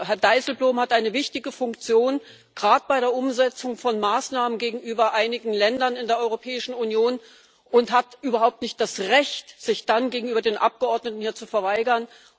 Herr Dijsselbloem hat eine wichtige Funktion, gerade bei der Umsetzung von Maßnahmen gegenüber einigen Ländern in der Europäischen Union, und hat überhaupt nicht das Recht, sich dann gegenüber den Abgeordneten hier zu verweigern.